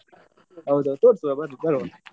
ಹೌದು ತೋರ್ಸುವ ಬ~ ಬರುವ.